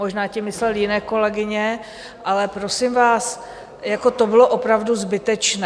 Možná tím myslel jiné kolegyně, ale prosím vás, jako to bylo opravdu zbytečné.